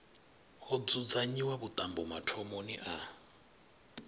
ho dzudzanyiwa vhuṱambo mathomoni a